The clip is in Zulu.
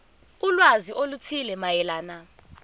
ulwazi oluthile mayelana